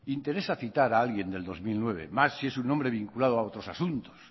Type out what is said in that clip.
interesa citar a alguien del dos mil nueve más si es un hombre vinculado a otros asuntos